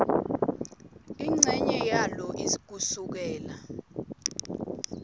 incenye yalo kusukela